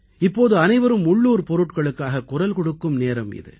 இப்போது அனைவரும் உள்ளூர் பொருட்களுக்காகக் குரல் கொடுக்கும் நேரம் இது